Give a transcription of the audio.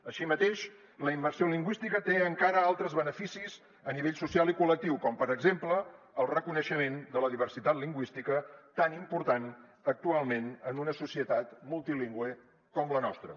així mateix la immersió lingüística té encara altres beneficis a nivell social i collectiu com per exemple el reconeixement de la diversitat lingüística tan important actualment en una societat multilingüe com la nostra